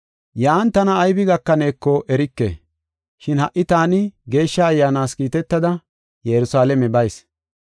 “Yan tana aybi gakaneeko erike, shin ha77i taani Geeshsha Ayyaanas kiitetada Yerusalaame bayis.